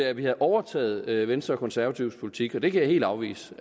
at vi havde overtaget venstre og konservatives politik og det kan jeg helt afvise